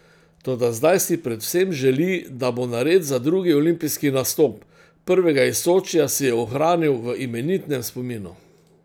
Toda zdaj si predvsem želi, da bo nared za drugi olimpijski nastop, prvega iz Sočija si je ohranil v imenitnem spominu.